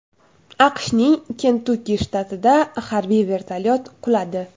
AQShning Kentukki shtatida harbiy vertolyot quladi.